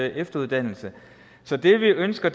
efteruddannelse så det vi ønsker